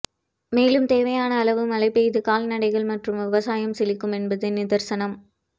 மேலும் தேவையான அளவு மழை பெய்து கால்நடைகள் மற்றும் விவசாயம் செழிக்கும் என்பது நிதர்சனம்